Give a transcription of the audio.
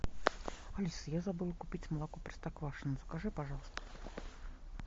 алиса я забыла купить молоко простоквашино закажи пожалуйста